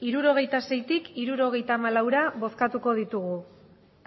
hirurogeita seitik hirurogeita hamalaura bozkatuko ditugu